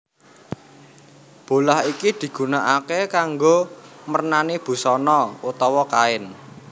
Bolah iki digunakaké kanggo mernani busana utawa kain